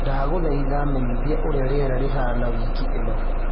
ndagũthaĩtha menyithia ũrĩa rĩera rĩhana wĩkĩ ino